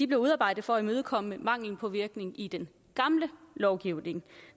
blev udarbejdet for at imødekomme manglen på virkning i den gamle lovgivning